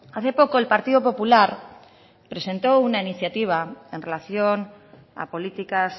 hace poco el partido popular presentó una iniciativa en relación a políticas